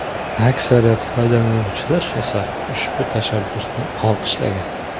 Aksariyat foydalanuvchilar esa ushbu tashabbusni olqishlagan.